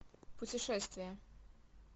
путешествие